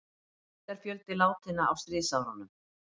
Heildarfjöldi látinna á stríðsárunum